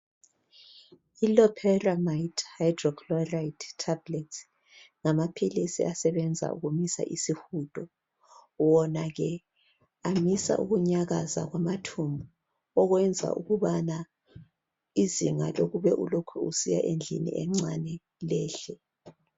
ILoperamide hydrochloride tablets ngamapills asebenza ukumisa isihudo wona ke amisa ukunyakaza kwamathumbu okuyenza ukubana izinga lokube ulokhe usiya eSambuzini lehle